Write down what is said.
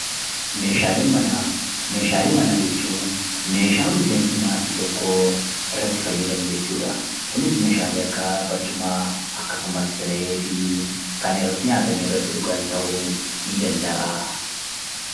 Meeshaalee manaa, meeshaalee manaa jechuun meeshaa miseensi maatii tokkoo irratti fayyadamu jechuudha. Kunis meeshalee akka barcumaa akkasumas sireefi kan irratti nyaatanii irratti dhugan ta'uu ni danda'a.